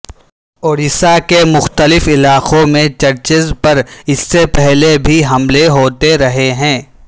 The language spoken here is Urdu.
اڑیسہ کے مختلف علاقوں میں چرچز پر اس سے پہلے بھی حملے ہوتے رہے ہیں